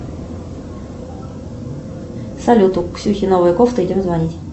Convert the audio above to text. салют у ксюхи новая кофта идем звонить